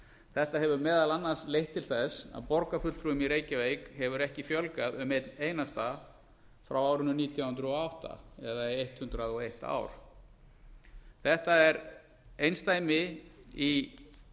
þetta hefur meðal annars leitt til þess að borgarfulltrúum í reykjavík hefur ekki fjölgað um einn einasta frá árinu nítján hundruð og átta eða í hundrað og eitt ár þetta er einsdæmi í